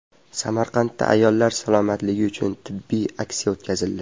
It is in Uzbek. Samarqandda ayollar salomatligi uchun tibbiy aksiya o‘tkazildi.